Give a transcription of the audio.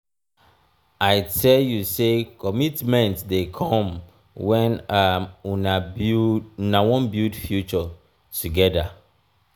i tell you sey ommitment dey come wen um una wan build future togeda.